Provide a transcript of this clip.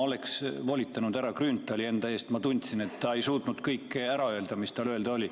Ma oleksin volitanud härra Grünthali enda eest, ma tundsin, et ta ei suutnud kõike ära öelda, mis tal öelda oli.